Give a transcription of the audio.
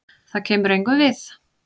Það kemur engum við.